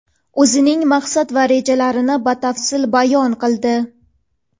o‘zining maqsad va rejalarini batafsil bayon qildi.